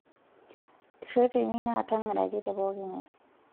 Ireteni naa tang'araki tepokingae.